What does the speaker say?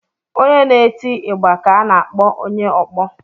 Onye na-eti igba ka a na-akpọ onye ọkpọ.